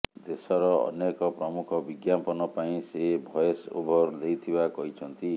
ଦେଶର ଅନେକ ପ୍ରମୁଖ ବିଜ୍ଞାପନ ପାଇଁ ସେ ଭଏସ ଓଭର ଦେଇଥିବା କହିଛନ୍ତି